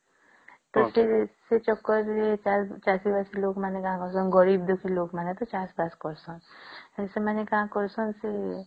ସେ ଚକ୍କର ରେ ଚାଷୀ ବାସି ଲୋକ ମାନେ କଁ କରୁସନ ଗରିବ ବେଶୀ ର ଲୋକ ମାନ ଚାଷ ବାସ କରୁସନ ସେମାନେ କଣ କରୁସନ